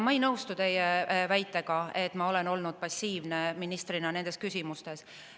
Ma ei nõustu teie väitega, et ma olen olnud ministrina passiivne nendes küsimustes.